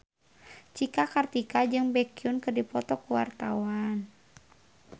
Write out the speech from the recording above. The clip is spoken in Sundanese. Cika Kartika jeung Baekhyun keur dipoto ku wartawan